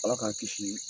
Ala k'an kisi